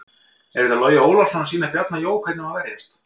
Er þetta Logi Ólafsson að sýna Bjarna Jó hvernig á að verjast?